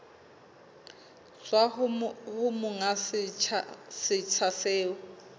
tswa ho monga setsha seo